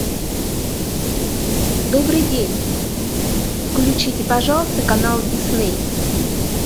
добрый день включите пожалуйста канал дисней